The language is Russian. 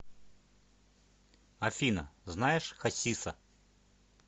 афина знаешь хасиса